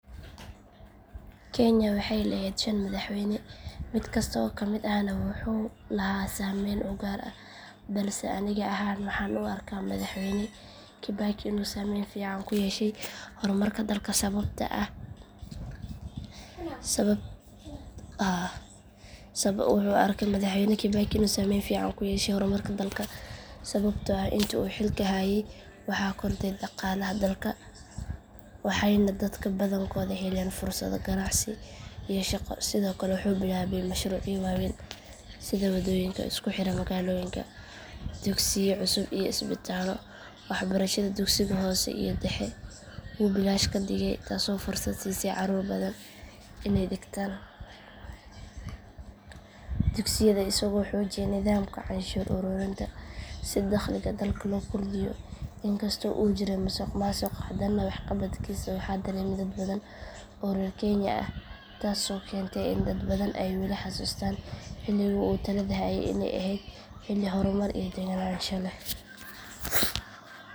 Kenya waxay lahayd shan madaxweyne mid kasta oo ka mid ahna wuxuu lahaa saameyn u gaar ah balse aniga ahaan waxaan u arkaa madaxweyne kibaki inuu saameyn fiican ku yeeshay horumarka dalka sababtoo ah intii uu xilka hayay waxaa kordhay dhaqaalaha dalka waxayna dadka badankoodu heleen fursado ganacsi iyo shaqo sidoo kale wuxuu bilaabay mashruucyo waaweyn sida waddooyinka isku xira magaalooyinka dugsiyo cusub iyo isbitaallo waxbarashada dugsiga hoose iyo dhexe wuu bilaash ka dhigay taasoo fursad siisay caruur badan iney dhigtaan dugsiyada isagoo xoojiyay nidaamka canshuur ururinta si daqliga dalka loo kordhiyo in kastoo uu jiray musuq maasuq hadana waxqabadkiisa waxaa dareemay dad badan oo reer kenya ah taasoo keentay in dad badan ay weli xasuustaan xilligii uu talada hayay iney ahayd xilli horumar iyo deganaansho leh.